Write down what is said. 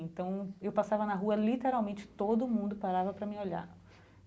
Então eu passava na rua, literalmente todo mundo parava para me olhar.